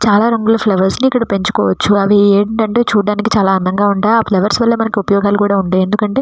చాలా రంగుల ఫ్లవర్స్ ఇక్కడ పెంచుకోవచ్చు అవి ఏమిటి అంటే చూడడానికి చాలా అందంగా ఉంటాయి ఆ ఫ్లవర్స్ వాళ్ల మనకీ చాలా ఉపయోగాలు ఉంటాయి.